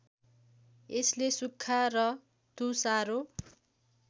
यसले सुक्खा र तुषारो